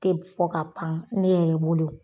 Te b fɔ ka pan ne yɛrɛ bolo.